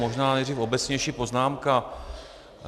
Možná nejdřív obecnější poznámka.